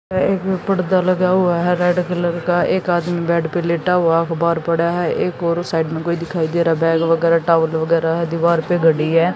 एक पर्दा लगा हुआ है रेड कलर का एक आदमी बेड पे लेटा हुआ अखबार पड़ा है एक और साइड में कोई दिखाई दे रहा बैग वगैरह टॉवेल वगैरह है दीवार पे घड़ी है।